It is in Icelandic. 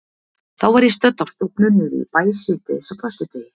Þá var ég stödd á stofnun niðri í bæ síðdegis á föstudegi.